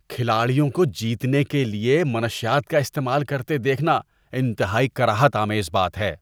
کھلاڑیوں کو جیتنے کے لیے منشیات کا استعمال کرتے دیکھنا انتہائی کراہت آمیز بات ہے۔